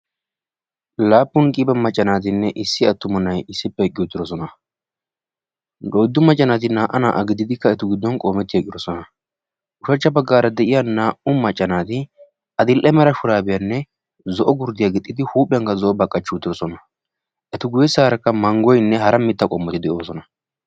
Laappun qiiba macca naatinne issi attuma nay issippe eqqi uttidoosona; oyddu macca naati naa"a naa"a gididi etu giddon qoometi eqqidoosona; ushachcha baggara de'iyaa naa"u macca naati adl"e mara shurabiyyanne zo'o gurddiyaa gixxidi huuphiyaankka zo'oba qachchi uttidoosona; eta guyyeessarakka manggoyinne hara mitta qommoti de'oosona.